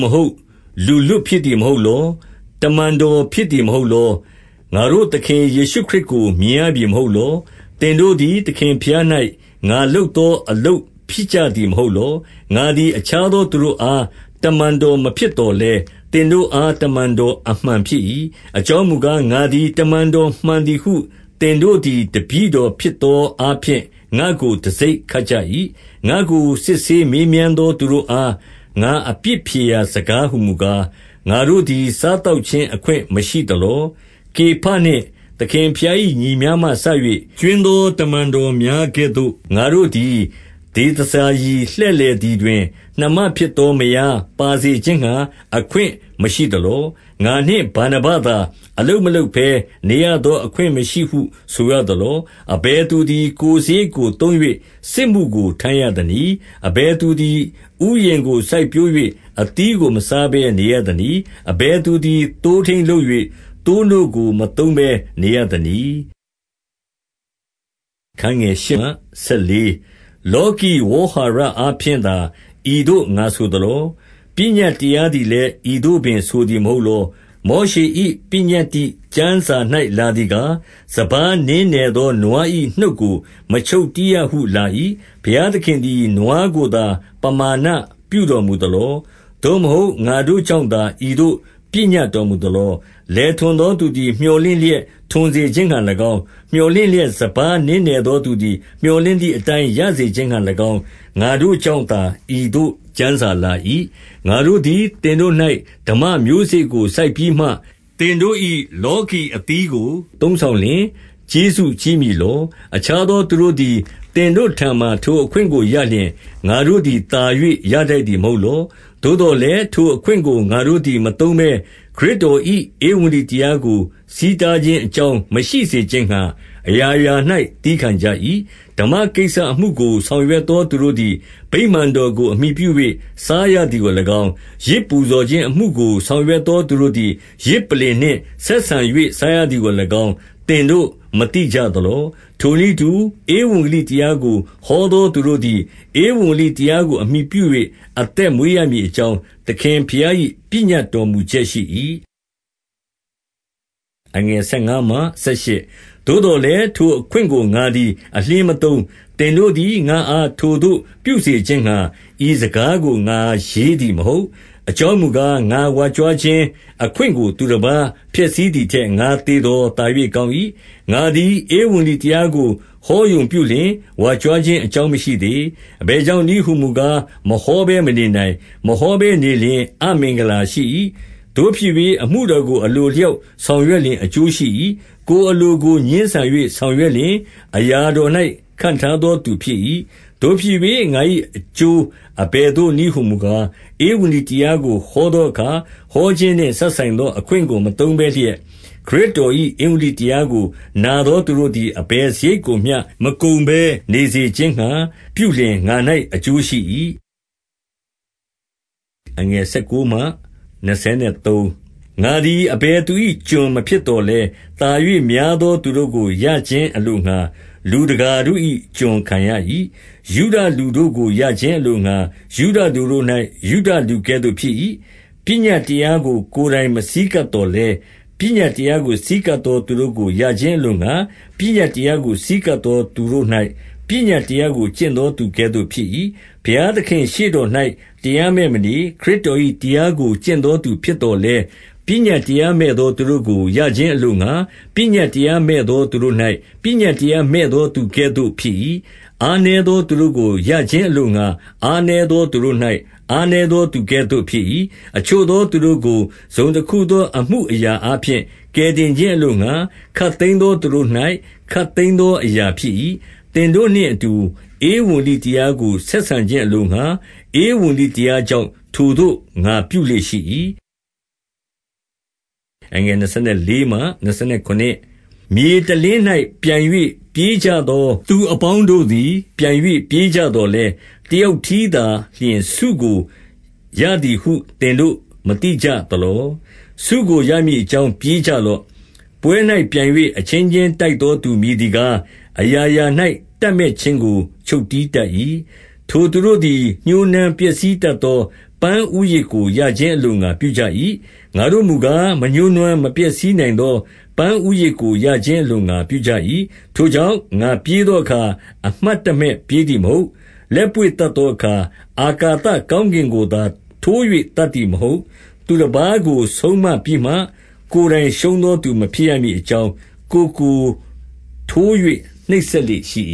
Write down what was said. မဟုတ်၊ လူလွတ်ဖြစ်သည် မဟုတ်လော။ တမန်တော်ဖြစ်သည်မဟုတ်လော။ ငါတို့ သခင် ယေရှုခရစ်ကို မြင်ရပြီ မဟုတ်လော။ သင်တို့သည် သခင်ဘုရား၌ ငါလုပ်သော အလုပ်ဖြစ်ကြသည် မဟုတ်လော။ ငါသည် အခြားသောသူတို့အား တမန်တော် မဖြစ်သော်လည်း၊ သင်တို့အားတမန်တော် အမှန်ဖြစ်၏။ အကြောင်းမူကား၊ ငါသည် တမန်တော်မှန်သည်ဟု သင် တို့သည် တပည့်တော်ဖြစ်သောအားဖြင့် ငါ့ကို တံဆိပ် ခတ်ကြ၏။ ငါ့ကိုစစ်ဆေးမေးမြန်းသော သူတို့အား ငါ အပြစ်ဖြေရာစကားဟူမူကား၊ ငါတို့သည် စားသောက်ခြင်း အခွင့်မရှိသလော။ ကေဖနှင့်သခင်ဘုရား၏ညီများမှစ၍ ကြွင်းသော တမန်တော်များကဲ့သို့၊ ငါတို့သည်ဒေသစာရီ လှည့် လည်သည်တွင် နှမဖြစ်သော မယားပါစေခြင်းငှါ အခွင့် မရှိသလော။ ငါနှင့်ဗာနဗသာ အလုပ်မလုပ်ဘဲနေရသော အခွင့်မရှိဟု ဆိုရသလော။ အဘယ်သူသည် ကိုယ်စရိတ်ကို သုံး၍ စစ်မှုကို ထမ်းရသနည်း။ အဘယ်သူသည် ဥယျာဉ်ကိုစိုက်ပျိုး၍ အသီးကိုမစားဘဲနေရသနည်း။ အဘယ်သူသည် သိုးထိန်း လုပ်၍ သိုးနို့ကိုမသုံးဘဲနေရသနည်း။ လောကီဝေါဟာရအားဖြင့်သာ ဤသို့ ငါဆို သလော။ ပညတ်တရားသည်လည်း ဤသို့ပင်ဆိုသည် မဟုတ်လော။ မောရှေ၏ ပညတ္တိကျမ်းစာ၌လာသည်ကား၊ စပါးနင်းနယ်သော နွား၏ နှုတ်ကိုမချုပ်တည်းရဟု လာ၏။ ဘုရားသခင်သည် နွားကိုသာ ပမာဏပြုတော်မူ သလော။ သို့မဟုတ် ငါတို့ကြောင့်သာ ဤသို့ပညတ်တော်မူ သလော။ လယ်ထွန်သောသူသည် မြော်လင့်လျက် လယ်ထွန်စေခြင်းငှါ၎င်း၊ မြော်လင့်လျက် စပါးနင်းနယ် သောသူသည် မြော်လင့်သည်အတိုင်း ရစေခြင်းငှါ၎င်း၊ ငါတို့ကြောင့်သာဤသို့ ကျမ်းစာလာ၏။ ငါတို့သည် သင်တို့၌ ဓမ္မမျိုးစေ့ကို စိုက်ပြီးမှ သင်တို့၏လောကီအသီးကို သုံးဆောင်လျှင် ကျေးဇူးကြီး မည်လော။ အခြားသောသူတို့သည် သင်တို့ထံမှာ ထိုအခွင့် ကိုရလျှင် ငါတို့သည် သာ၍ရထိုက်သည်မဟုတ်လော။ သို့သော်လည်း ထိုအခွင့်ကို ငါတို့သည် မသုံးဘဲ၊ ခရစ်တော် ၏ ဧဝံဂေလိတရားကို ဆီးတားခြင်းအကြောင်း မရှိ စေခြင်းငှါ အရာရာ၌ သည်းခံကြ၏။ ဓမ္မကိစ္စအမှုကို ဆောင်ရွက်သော သူတို့သည် ဗိမာန်တော်ကို အမှီပြု၍ စားရသည်ကို၎င်း၊ ယဇ်ပူဇော် ခြင်းအမှုကို ဆောင်ရွက်သော သူတို့သည် ယဇ်ပလ္လင်နှင့် ဆက်ဆံ၍ စားရသည်ကို၎င်း၊ သင်တို့ မသိကြသလော။ ထိုနည်းတူ၊ ဧဝံဂေလိတရားကိုဟောသော သူတို့သည် ဧဝံဂေလိတရားကို အမှီပြု၍ အသက်မွေးရမည် အကြောင်း၊ သခင်ဘုရား၏ ပညတ်တော်မူချက်ရှိ၏။ သို့သော်လည်းထိုအခွင့်ကို ငါသည် အလျှင်းမသုံး။ သင်တို့သည် ငါ့အား ထိုသို့ပြုစေခြင်းငှါ ဤစကား ကို ငါရေးသည်မဟုတ်။ အကြောင်းမူကား၊ ငါဝါကြွားခြင်းအခွင့်ကိုသူတပါးဖျက်ဆီးသည်ထက် ငါသေသော် သာ၍ ကောင်း၏။ ငါသည်ဧဝံဂေလိတရားကို ဟောရုံပြုလျှင် ဝါကြွားခြင်း အကြောင်းမရှိသေး။ အဘယ်ကြောင့် နည်းဟူမူကား၊ မဟောဘဲမနေနိုင်။ မဟောဘဲနေလျှင် အမင်္ဂလာရှိ၏။ သို့ဖြစ်၍ အမှုတော်ကို အလိုအလျောက် ဆောင်ရွက်လျှင် အကျိုးရှိ၏။ ကိုယ်အလိုကိုငြင်းဆန်၍ ဆောင်ရွက်လျှင် အရာတော်၌ ခန့်ထားသောသူဖြစ်၏။ သို့ဖြစ်၍ ငါ၏အကျိုးအဘယ်သို့နည်းဟူမူကား၊ ဧဝံဂေလိတရားကို ဟောသောအခါ၊ ဟောခြင်းနှင့် စပ်ဆိုင်သော အခွင့်ကို မသုံးဘဲလျက်၊ ခရစ်တော်၏ ဧဝံဂေလိတရားကို နာသောသူတို့သည် အဘယ် စရိတ်ကိုမျှ မကုန်ဘဲနေစေခြင်းငှါ ပြုလျှင်ငါ၌အကျိုးရှိ၏။ ငါသည် အဘယ်သူ၏ကျွန် မဖြစ်သော်လည်း သာ၍များသော သူတို့ကိုရခြင်းအလိုငှါ လူတကာတို့၏ ကျွန်ခံရ၏။ ယုဒလူတို့ကိုရခြင်းအလိုငှါ ယုဒလူတို့၌ ယုဒလူကဲ့သို့ဖြစ်၏။ ပညတ်တရားကိုကိုယ်တိုင် မဆည်းကပ် သော်လည်း၊ ပညတ်တရားကို ဆည်းကပ်သောသူတို့ကို ရခြင်းအလိုငှါ၊ ပညတ်တရားကို ဆည်းကပ်သောသူတို့၌ ပညတ်တရားကို ကျင့်သောသူကဲ့သို့ဖြစ်၏။ ဘုရားသခင်ရှေ့တော်၌ တရားမဲ့မနေ၊ ခရစ်တော်၏တရားကို ကျင့်သောသူဖြစ်သော်လည်း၊ ပညတ် တရားမဲ့သောသူတို့ကို ရခြင်းအလိုငှါ ပညတ်တရားမဲ့သောသူတို့၌ ပညတ်တရားမဲ့သော သူကဲ့သို့ဖြစ်၏။ အားနည်းသော သူတို့၌ အားနည်းသော သူကဲ့သို့ဖြစ်၏။ အချို့သော သူတို့ကို တစုံတခုသော အမှု အရာအားဖြင့် ကယ်တင်ခြင်းအလိုငှါ၊ ခပ်သိမ်းသော သူတို့၌ ခပ်သိမ်းသောအရာဖြစ်၏။ သင်တို့နှင့်အတူ ဧဝံဂေလိတရားကို ဆက်ဆံခြင်းအလိုငှါ၊ ဧဝံဂေလိတရားကြောင့် ထိုသို့ငါပြုလေ့ရှိ၏။ မြေတလင်း၌ပြိုင်၍ ပြေးကြသောသူအပေါင်းတို့သည် ပြိုင်၍ ပြေးကြသော်လည်း၊ တယောက်တည်း သာလျှင် ဆုကိုရသည်ဟု သင်တို့ မသိကြသလော။ ဆုကို ရမည်အကြောင်း ပြေးကြလော့။ ပွဲ၌ပြိုင်၍ အချင်းချင်းတိုက်သော သူမည်သည်ကား၊ အရာရာ၌ တပ်မက်ခြင်းကို ချုပ်တည်းတတ်၏။ ထိုသူတို့သည် ညှိုးနွမ်းပျက်စီးတတ်သော ပန်းဦးရစ်ကို ရခြင်းအလိုငှါပြုကြ၏။ ငါတို့မူကား မညှိုးနွမ်း မပျက်စီး နိုင်သော ပန်းဦးရစ်ကို ရခြင်းအလိုငှါ ပြုကြ၏။ ထိုကြောင့် ငါပြေးသောအခါ၊ အမှတ်တမဲ့ပြေးသည်မဟုတ်၊ လက်ပွေ့သတ်သောအခါ အာကာသ ကောင်းကင်ကိုသာ ထိုး၍ သတ်သည်မဟုတ်။ သူတပါးကို ဆုံးမပြီးမှ ကိုယ်တိုင်ရှုံးသော သူမဖြစ်ရမည်အကြောင်း၊ ကိုယ်ကိုထိုး၍နှိပ်စက်လေ့ရှိ